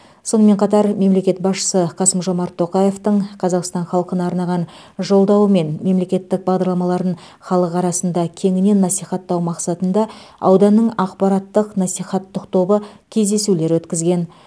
сонымен қатар мемлекет басшысы қасым жомарт тоқаевтың қазақстан халқына арнаған жолдауы мен мемлекеттік бағдарламаларын халық арасында кеңінен насихаттау мақсатында ауданның ақпараттық насихаттық тобы кездесулер өткізген